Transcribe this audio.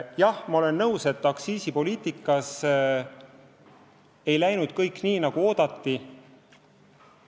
Jah, ma olen nõus, et aktsiisipoliitikas ei läinud kõik nii, nagu oodati.